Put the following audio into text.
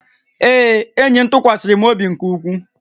Ee, enyi m tụkwasịrị m obi nke ukwuu